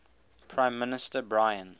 prime minister brian